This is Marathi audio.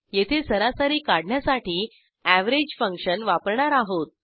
येथे सरासरी काढण्यासाठी एव्हरेज फंक्शन वापरणार आहोत